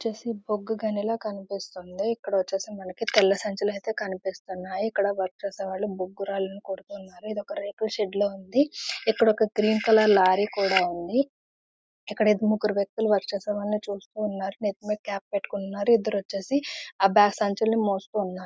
ఇది వచ్చేసి బొగ్గు గన్నిలాగా కనిపిస్తోంది. ఇక్కడ వచ్చేసి మనకి తెల్ల సంచులు ఐతే కనిపిస్తోంది. ఇక్కడ వర్క చేసే వాళ్ళు బొగ్గు రాళ్ళూ కొడుతున్నారు . ఇది ఒక రేకుల షెడ్ లో ఉంది. ఇక్కడ ఒక గ్రీన్ కలర్ లారీ కూడా ఉంది. ఇక్కడ ముగ్గురు వ్యక్తులు పనిచేస్తున్నారు. నేతి మీద కాప్ పెట్టుకొని ఉన్నారు. ఇద్దరు వచ్చేసి సంచులు మోస్తు ఉన్నారు.